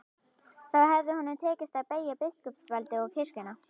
Þá hefði honum tekist að beygja biskupsvaldið og kirkjuna.